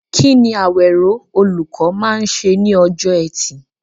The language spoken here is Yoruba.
Kí ni Awero, olùkọ́, máa ń ṣe ní ọjọ́ Ẹtì?